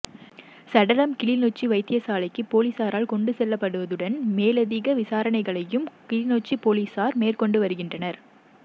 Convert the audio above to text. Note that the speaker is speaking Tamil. சடலம் கிளிநொச்சி வைத்தியசாலைக்கு பொலிசாரால் கொண்டு செல்லப்படுவதுடன் மேலதிக விசாரணைகளையும் கிளிநொச்சி பொலிசார் மேற்கொண்டு வருகின்றனர்